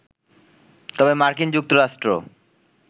তবে মার্কিন যুক্তরাষ্ট্র